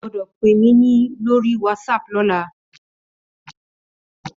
Ó gbòdò pé mi lóri wàtsáp lòlá